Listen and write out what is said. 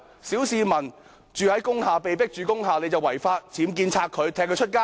小市民被迫住在工廈即屬違法，有僭建便要拆除，踢他們到街上。